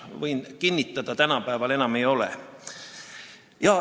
Võin kinnitada: tänapäeval enam ei ole.